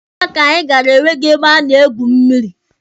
Paaki anyị gara enweghị ebe a na-egwu mmịrị.